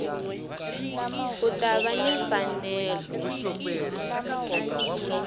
u ta va ni mfanelo